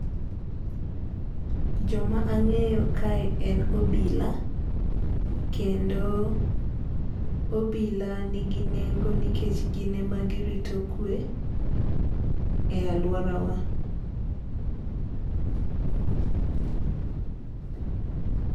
Joma ang'eyo kae en obila kendo obila nigi nengo nikech gin ema girito kwe e alworawa.